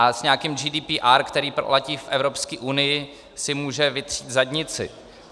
A s nějakým GDPR, který platí v Evropské unii, si může vytřít zadnici.